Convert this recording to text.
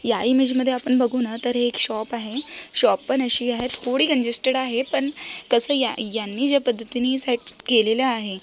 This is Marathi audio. या इमेज मध्ये आपण बघू ना तर एक शॉप आहे शॉप पन अशी आहे थोड़ी कंजेसटेड आहे पन तस या यांनी ज्या पद्धतीनि सेट केलेली आहे.